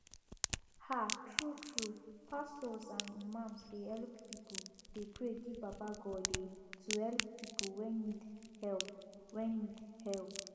um true true pastors and imams dey help pipu dey pray give baba Godeh to help people wey need help wey need help